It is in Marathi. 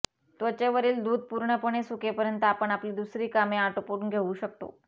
त्वचेवरील दूध पूर्णपणे सुकेपर्यंत आपण आपली दुसरी कामे आटोपून घेऊ शकता